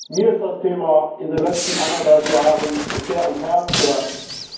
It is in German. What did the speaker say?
Mir ist das Thema in den letzten eineinhalb Jahren sehr ans Herz gewachsen.